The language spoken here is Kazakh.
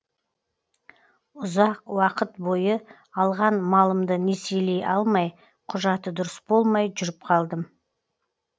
ұзақ уақыт бойы алған малымды несиелей алмай құжаты дұрыс болмай жүріп қалдым